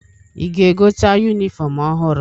Ị ga-egote yunifọmụ ọhụrụ?